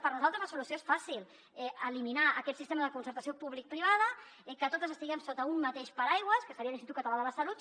per nosaltres la solució és fàcil eliminar aquest sistema de concertació publicoprivada que totes estiguem sota un mateix paraigua que seria l’institut català de la salut